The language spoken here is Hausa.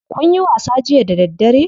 Kunyi wasa jiya da daddare?